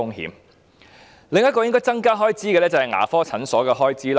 開支應該增加的另一範疇是牙科診所的開支。